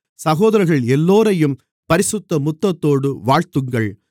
சகோதரர்கள் எல்லோரையும் பரிசுத்த முத்தத்தோடு வாழ்த்துங்கள்